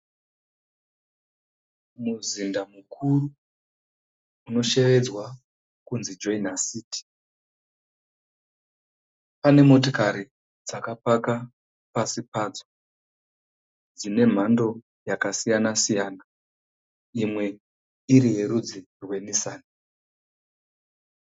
Muzinda mukuru anoshevedzwa kunzi JOINA CITY. Pane motikari dzakapaka pasi padzo dzine mhando yakasiyana-siyana imwe iri mhando yeNissan.